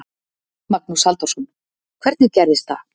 Magnús Halldórsson: Hvernig gerist það?